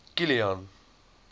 kilian